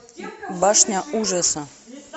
башня ужаса